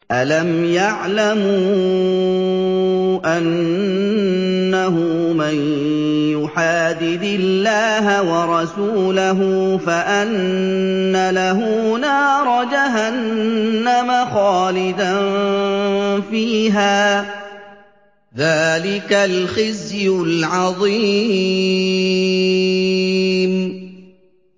أَلَمْ يَعْلَمُوا أَنَّهُ مَن يُحَادِدِ اللَّهَ وَرَسُولَهُ فَأَنَّ لَهُ نَارَ جَهَنَّمَ خَالِدًا فِيهَا ۚ ذَٰلِكَ الْخِزْيُ الْعَظِيمُ